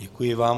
Děkuji vám.